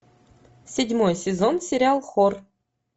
седьмой сезон сериал хор